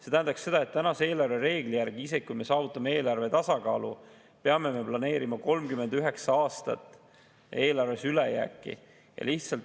See tähendaks seda, et tänase eelarvereegli järgi, isegi kui me saavutame eelarvetasakaalu, peame me planeerima 39 aastat eelarves ülejääki.